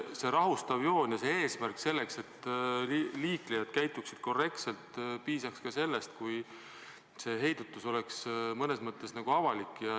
See rahustav joon ja eesmärk, et liiklejad käituksid korrektselt – piisaks ka sellest, kui see heidutus oleks mõnes mõttes avalik.